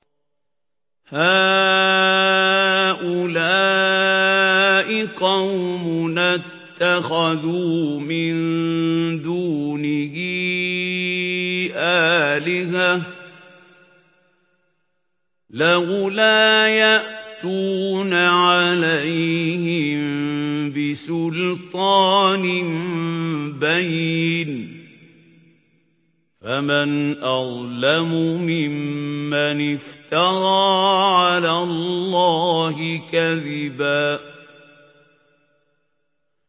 هَٰؤُلَاءِ قَوْمُنَا اتَّخَذُوا مِن دُونِهِ آلِهَةً ۖ لَّوْلَا يَأْتُونَ عَلَيْهِم بِسُلْطَانٍ بَيِّنٍ ۖ فَمَنْ أَظْلَمُ مِمَّنِ افْتَرَىٰ عَلَى اللَّهِ كَذِبًا